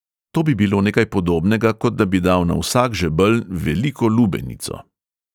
To bi bilo nekaj podobnega, kot da bi dal na vsak žebelj veliko lubenico.